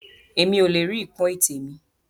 Èmi o le rí ipọn ètè mi.